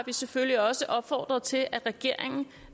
vi selvfølgelig også opfordret til at regeringen